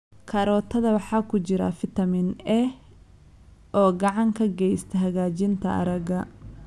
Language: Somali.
Karootada waxaa ku jira fitamiin A oo gacan ka geysta hagaajinta aragga.